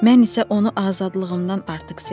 Mən isə onu azadlığımdan artıq sevirəm.